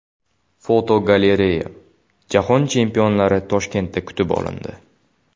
Fotogalereya: Jahon chempionlari Toshkentda kutib olindi.